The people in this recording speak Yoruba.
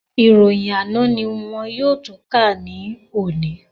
Ìròyìn àná ní wọn yóò tún kà ní òní